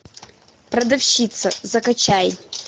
продавщица закачай